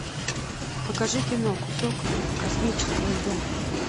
покажи кино кусок космического льда